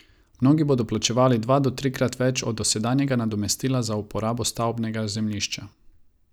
Mnogi bodo plačevali dva do trikrat več od dosedanjega nadomestila za uporabo stavbnega zemljišča.